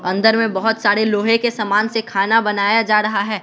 अंदर में बहुत सारे लोहे के समान से खाना बनाया जा रहा है।